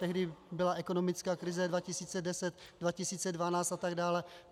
Tehdy byla ekonomická krize 2010, 2012 atd.